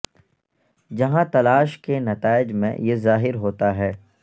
جہاں تلاش کے نتائج میں یہ ظاہر ہوتا ہے